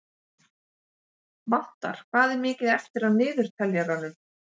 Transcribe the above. Vatnar, hvað er mikið eftir af niðurteljaranum?